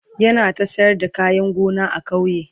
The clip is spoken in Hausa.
yana ta sayar da kayan gona a kauye